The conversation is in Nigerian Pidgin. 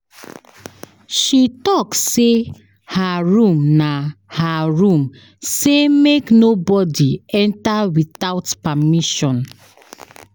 She tok sey her room na her room sey make nobodi enta witout permission.